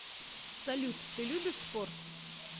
салют ты любишь спорт